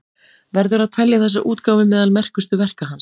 Verður að telja þessa útgáfu meðal merkustu verka hans.